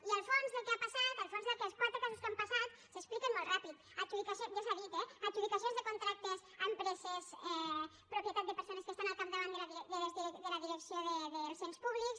i el fons del que ha passat el fons d’aquests quatre casos que han passat s’explica molt ràpid ja s’ha dit eh adjudicacions de contractes a empreses propietat de persones que estan al capdavant de la direcció dels ens públics